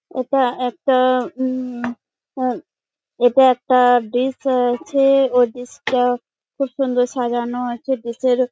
এটা একটা উম আহ এটা একটা ডিশ আছে। ও ডিশ -টা খুব সুন্দর সাজানো আছে। ডিশ -এর--